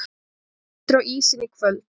Jón aftur á ísinn í kvöld